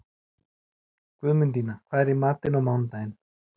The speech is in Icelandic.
Guðmundína, hvað er í matinn á mánudaginn?